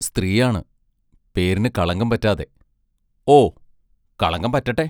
സ്ത്രീയാണ്; പേരിന് കളങ്കം പറ്റാതെ ഓ, കളങ്കം പറ്റട്ടെ!